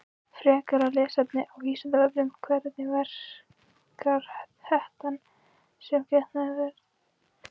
Frekara lesefni á Vísindavefnum: Hvernig verkar hettan sem getnaðarvörn?